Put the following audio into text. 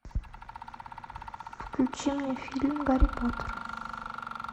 включи мне фильм гарри поттер